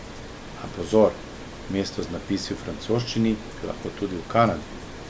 A pozor, mesto z napisi v francoščini je lahko tudi v Kanadi!